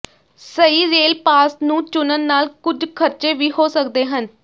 ਸਹੀ rail pass ਨੂੰ ਚੁਣਨ ਨਾਲ ਕੁਝ ਖ਼ਰਚੇ ਵੀ ਹੋ ਸਕਦੇ ਹਨ